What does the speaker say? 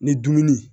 Ni dumuni